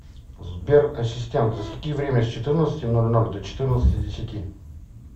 сбер ассистент засеки время с четырнадцати ноль ноль до четырнадцати десяти